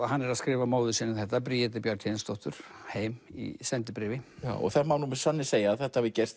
hann er að skrifa móður sinni þetta Bjarnhéðinsdóttur heim í sendibréfi það má með sanni segja að þetta hafi gerst